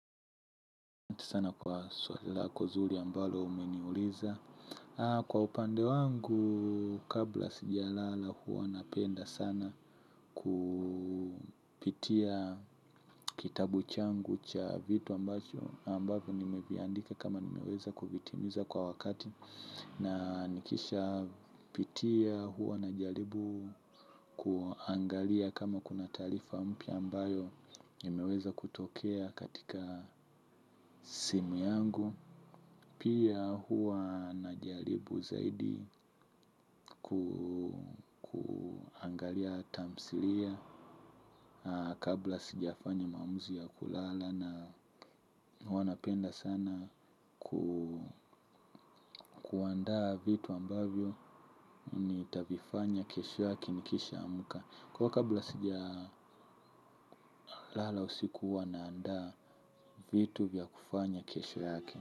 Sana kwa swali lako zuri ambalo umeniuliza. Kwa upande wangu kabla sijalala huwa napenda sana kupitia kitabu changu cha vitu ambacho ambavyo nimeviandika kama nimeweza kuvitimiza kwa wakati. Na nikishapitia huwa na jaribu kuangalia kama kuna taarifa mpya ambayo nimeweza kutokea katika simu yangu. Pia huwa najaribu zaidi kuangalia tamsilia kabla sijafanya maamuzi ya kulala na huwa napenda sana kuanda vitu ambavyo nitavifanya kesho yake nikishaamka. Kwa hiyo kabla sijalala usiku huwa naanda vitu vya kufanya kesho yake.